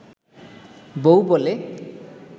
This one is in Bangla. বউ বলে